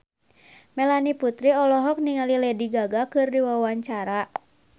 Melanie Putri olohok ningali Lady Gaga keur diwawancara